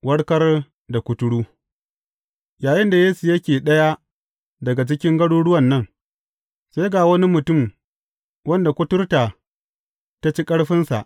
Warkar da kuturu Yayinda Yesu yake ɗaya daga cikin garuruwan nan, sai ga wani mutum wanda kuturta ta ci ƙarfinsa.